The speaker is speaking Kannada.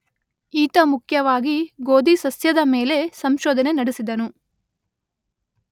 ಈತ ಮುಖ್ಯವಾಗಿ ಗೋಧಿ ಸಸ್ಯದ ಮೇಲೆ ಸಂಶೋಧನೆ ನಡೆಸಿದನು.